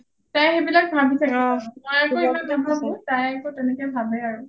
তাই সেইবিলাক ভাবি থাকে মই আকৌ ইমান নাভাবো তাই আকৌ তেনেকে ভাবে আৰু